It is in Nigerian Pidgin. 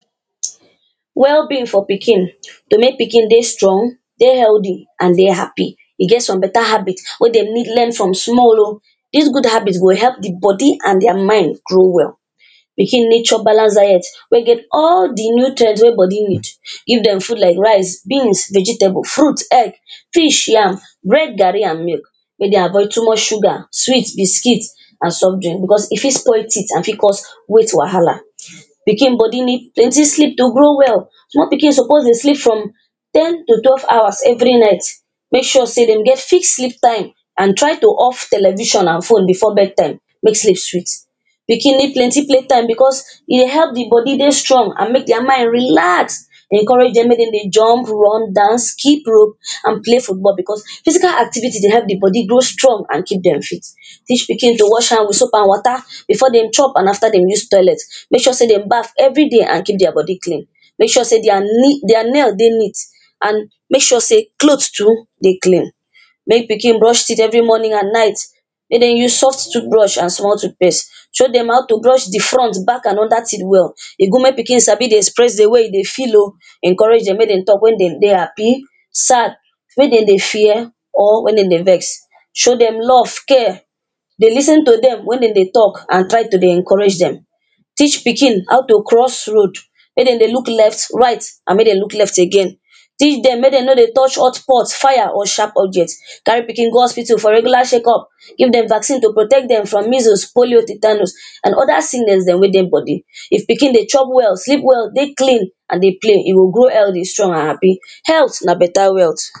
Well-being for pikin. To make pikin day strong, dey healthy, and dey happy, e get some better habits we dey need learn from small o, these good habits go help the body and their mind grow well. pikin need chop balance diet wey get all the nutrients we body need. Give them food like rice, beans, vegetable, fruit, egg, fish, yam, bread, garri, and milk, make dey avoid too much sugar, sweets, biscuits, and soft drink. Because if it spoilt teeth and if it cause weight wahala. pikin body needs plenty sleep to grow well. Small pikin suppose dey sleep from ten to twelve hours every night. Make sure say dem get fixed sleep time a d try to off television and phone before bedtime. Make sleep sweet. pikin need plenty play time because it help the body they strong and make their mind relax. Encourage them making they jump, run, dance, keep rope and play football because physical activity they help the body grow strong and keep them fit. Teach pikin to wash hands with soap and water before they chop and after dem use toilet. Make sure say they baff every day and keep their body clean. Make sure say their their nails dey neat and make sure say clothes too dey clean. Make pikin brush teeth every morning and night. Make dem use soft toothbrush and small toothpaste. Show them how to brush the front, back, and under teeth well. E good make pikin dey sabi dey express the way e dey feel o. Encourage them. Make dem talk when they dey happy, sad. when dem dey fear or when dem dey are vexed. Show them love, care. dey lis ten to them when they talk and try to dey encourage them. Teach pikin how to cross roads. Make dem dey look left, right, and make dem dey look left again. Teach them. Make them no dey touch hot pots, fire, or sharp objects. Carry pikin go hospital for regular check -up. Give dem vaccine to protect dem from measles, polio, tetanus, and other sicness dem wey dey body. If pikin dey chop well, sleep well, deyclean, and dey play, e go grow healthy, strong, and happy. Health na better wealth